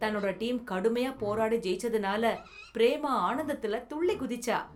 தன்னோட டீம் கடுமையா போராடி ஜெயிச்சதுனால பிரேமா ஆனந்தத்துல துள்ளி குதிச்சா.